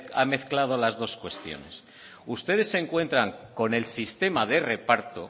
ha mezclado las dos cuestiones ustedes se encuentran con el sistema de reparto